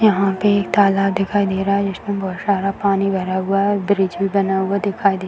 यहाँ पे एक तालाब दिखाई दे रहा है जिसमे बहुत सारा पानी भरा हुआ है और ब्रीज भी बना हुआ दिखाई दे --